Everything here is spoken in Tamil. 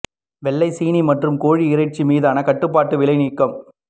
வெள்ளை சீனி மற்றும் கோழி இறைச்சி மீதான கட்டுப்பாட்டு விலை நீக்கம்